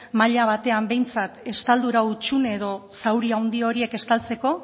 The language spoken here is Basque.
mahaia batean behintzat estaldura hutsune edo zauri handi horiek estaltzeko